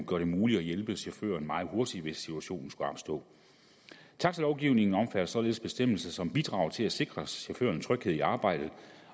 gør det muligt at hjælpe chaufføren meget hurtigt hvis situationen skulle opstå taxalovgivningen omfatter således bestemmelser som bidrager til at sikre chaufføren tryghed i arbejdet